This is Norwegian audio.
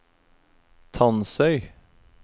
Tansøy